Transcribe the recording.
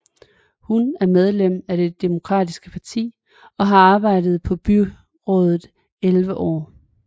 Hun er medlem af det demokratiske parti og har arbejdet på byrådet elleve år